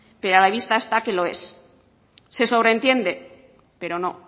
pero a la vista está que lo es se sobre entiende pero no